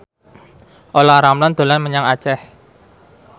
Olla Ramlan dolan menyang Aceh